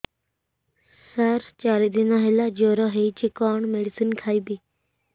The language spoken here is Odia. ସାର ଚାରି ଦିନ ହେଲା ଜ୍ଵର ହେଇଚି କଣ ମେଡିସିନ ଖାଇବି